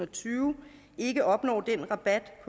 tyve ikke opnår den rabat